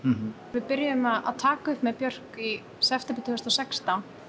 við byrjuðum að taka upp með Björk í september tvö þúsund og sextán